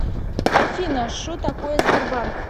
афина шо такое сбербанк